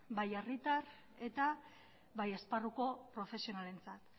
bai herritar eta bai esparruko profesionalentzat